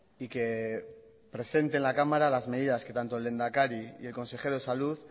y que presente en la cámara las medidas que tanto el lehenedakari y el consejero de salud